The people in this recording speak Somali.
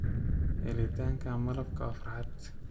Helitaanka malabka waa farxad.